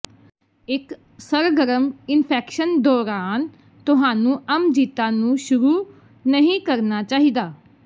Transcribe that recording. ਇੱਕ ਸਰਗਰਮ ਇਨਫੈਕਸ਼ਨ ਦੌਰਾਨ ਤੁਹਾਨੂੰ ਅਮਜਿਤਾ ਨੂੰ ਸ਼ੁਰੂ ਨਹੀਂ ਕਰਨਾ ਚਾਹੀਦਾ